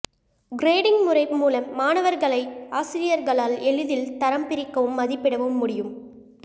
grading முறை மூலம் மாணவர்களை ஆசிரியர்களால் எளிதில் தரம் பிரிக்கவும் மதிப்பிடவும் முடியும்